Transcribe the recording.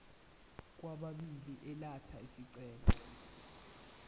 kwababili elatha isicelo